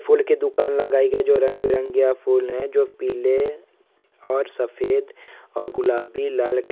फूल की दूकान लगायी है ।जो रंगे बिरंगए फूल है। जो पिले और सफेद और गुलाबी लाल--